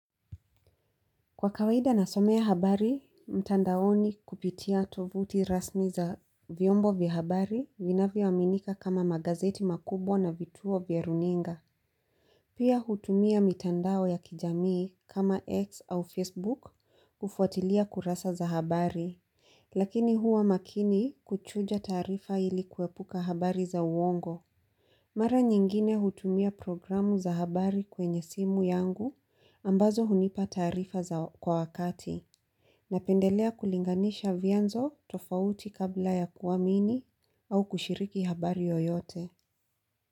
Kwa kawaida na somea habari, mtandaoni kupitia tovuti rasmi za vyombo vya habari vinavyo aminika kama magazeti makubwa na vituo vya runinga. Pia hutumia mitandao ya kijamii kama X au Facebook kufuatilia kurasa za habari. Lakini huwa makini kuchuja taarifa ili kuepuka habari za uongo. Mara nyingine hutumia programu za habari kwenye simu yangu ambazo hunipa taarifa za kwa wakati. Napendelea kulinganisha vianzo tofauti kabla ya kuamini au kushiriki habari yoyote.